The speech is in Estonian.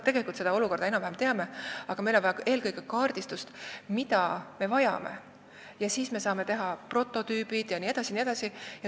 Tegelikult me seda olukorda enam-vähem teame, aga meil on vaja eelkõige selgeks teha, mida me vajame, siis me saame teha prototüübid jne.